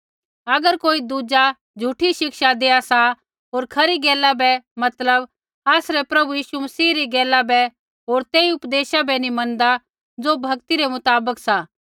अगर कोई दुज़ा झ़ूठी शिक्षा देआ सा होर खरी गैला बै मतलब आसरै प्रभु यीशु मसीह री गैला बै होर तेई उपदेशा बै नी मनदा ज़ो भक्ति रै मुताबक सा